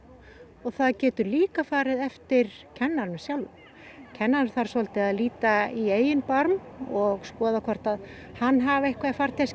og það getur líka farið eftir kennaranum sjálfum kennarinn þarf að líta í eigin barm og skoða hvort að hann hafi eitthvað í farteskinu